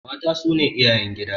Mata su ne iyayen gida.